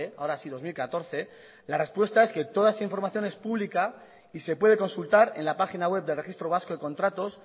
ahora sí dos mil catorce la respuesta es que toda esa información es pública y se puede consultar en la página web del registro vasco de contratos